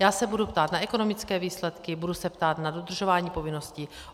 Já se budu ptát na ekonomické výsledky, budu se ptát na dodržování povinností.